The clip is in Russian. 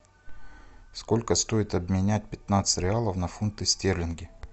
сколько стоит обменять пятнадцать реалов на фунты стерлингов